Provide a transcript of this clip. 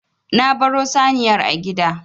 Na baro saniyar a gida.